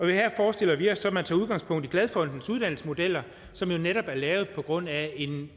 her forestiller vi os så at man tager udgangspunkt i glad fondens uddannelsesmodeller som netop er lavet på grundlag af